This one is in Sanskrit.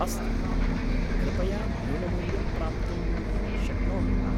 अस्तु, कृपया न्यूनमूल्यं प्राप्तुं शक्नोमि वा?